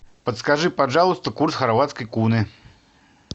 подскажи пожалуйста курс хорватской куны